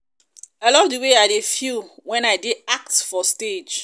i love the way i dey feel feel wen i dey act for stage